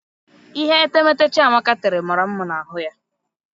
Ihe etemeete Chiamaka tere mara mma na ahụ ya.